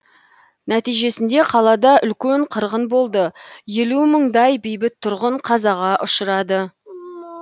нәтижесінде қалада үлкен қырғын болды елу мыңдай бейбіт тұрғын қазаға ұшырады